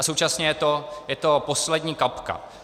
A současně je to poslední kapka.